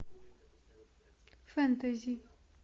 фэнтези